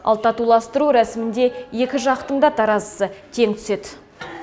ал татуластыру рәсімінде екі жақтың да таразысы тең түседі